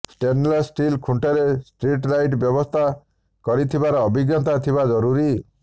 stainless steel ଖୁଣ୍ଟରେ street light ବ୍ୟବସ୍ଥା କରିଥିବାର ଅଭିଜ୍ଞତା ଥିବା ଜରୁରି